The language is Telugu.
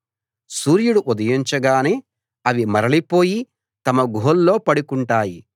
సూర్యుడు ఉదయించగానే అవి మరలిపోయి తమ గుహల్లో పడుకుంటాయి